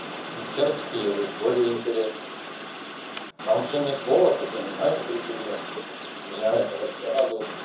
сербский язык более интересный там что ни слово то понимаешь друг друга меня это вообще радует